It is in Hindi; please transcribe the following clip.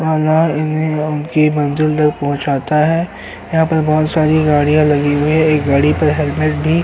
की मंजिल तक पहुंचना है। यहाँ पर बहुत सारी गाड़ियां लगी हुई है। एक गाड़ी पर हेलमेट भी --